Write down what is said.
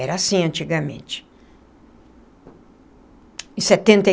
Era assim antigamente em setenta e